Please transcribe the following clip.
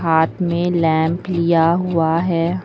हाथ में लैंप लिया हुआ है।